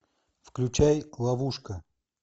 включай ловушка